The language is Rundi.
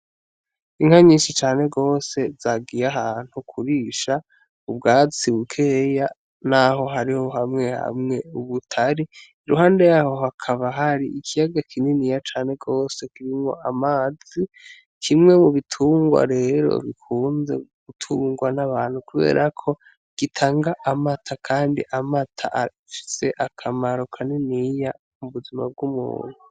Inka nyinshi cane rwose zagiya ahantu kurisha ubwatsi bukeya, naho hariho hamwe hamwe ubutari iruhande yaho hakaba hari ikiyaga kinini ya cane rwose kibimwo amazi kimwe mu bitungwa rero bikunda gutungwa n'abantu kuberako gitanga amata, kandi amata ashitse akamaro kaniniya mu buzima bw'umuntu.